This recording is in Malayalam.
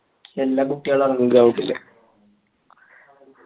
യെല്ലാ കുട്ടികളും എറങ്ങും ground ൽ